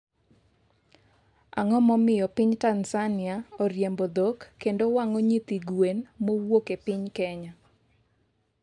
ang'o momiyo piny Tanzania oriembo dhok kendo wang'o nyithi gwen mowuok e piny kenya